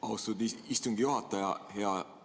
Austatud istungi juhataja!